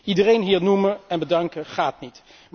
Iedereen hier noemen en bedanken gaat niet.